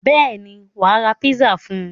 Bẹ́ẹ̀ ni, wà á ra pizza fún un.